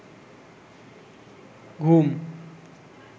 ঘুম